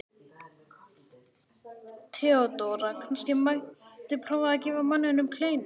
THEODÓRA: Kannski mætti prófa að gefa manninum kleinu?